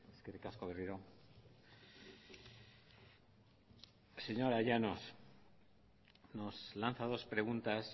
eskerrik asko berriro señora llanos nos lanza dos preguntas